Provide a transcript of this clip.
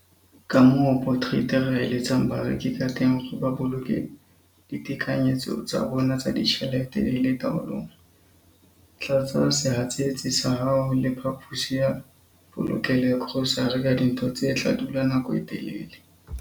Kamoo Potgieter a eletsang bareki kateng hore ba boloke ditekanyetso tsa bona tsa ditjhelete di le taolong- Tlatsa sehatsetsi sa hao le phaposi ya polokelo ya grosare ka dintho tse tla dula nako e telele.